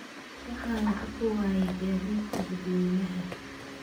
Waxaan lacag ku waayay gaadiidka dadweynaha